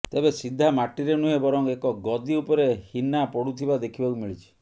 ତେବେ ସିଧା ମାଟିରେ ନୁହେଁ ବରଂ ଏକ ଗଦି ଉପରେ ହିନା ପଡ଼ୁଥିବା ଦେଖିବାକୁ ମିଳିଛି